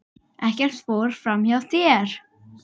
Ekkert fór fram hjá þér.